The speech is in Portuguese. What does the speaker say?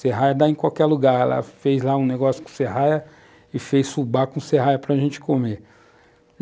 Serraia dá em qualquer lugar, ela fez lá um negócio com serraia e fez fubá com serraia para gente comer.